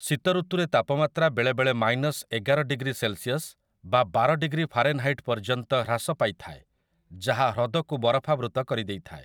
ଶୀତ ଋତୁରେ ତାପମାତ୍ରା ବେଳେବେଳେ ମାଇନସ୍ ଏଗାର ଡିଗ୍ରୀ ସେଲ୍‌ସିୟସ୍ ବା ବାର ଡିଗ୍ରୀ ଫାରେନ୍‌ହାଇଟ୍ ପର୍ଯ୍ୟନ୍ତ ହ୍ରାସ ପାଇଥାଏ, ଯାହା ହ୍ରଦକୁ ବରଫାବୃତ କରିଦେଇଥାଏ ।